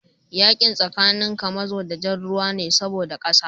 Yakin tsakanin kamazo da jar ruwa ne saboda kasa